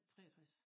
63